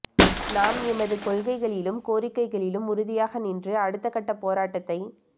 நாம் எமது கொள்கைகளிலும் கோரிக்கைகளிலும் உறுதியாக நின்று அடுத்தகட்டப் போராட்டத்தை